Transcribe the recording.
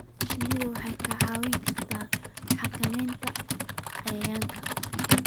Shinnidu waxay kaa caawin kartaa xakamaynta cayayaanka.